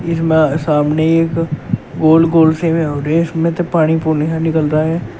इसमें सामने एक गोल गोल से वो हो रे इसमें से पानी पूनी सा निकलता है।